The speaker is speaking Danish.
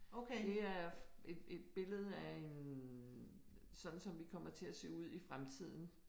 Det er et et billede af en sådan som vi kommer til at se ud i fremtiden